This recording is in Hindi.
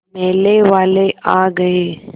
मेले वाले आ गए